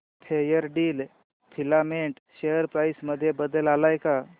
Fairdeal filament share price मध्ये बदल आलाय का